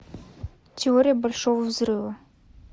теория большого взрыва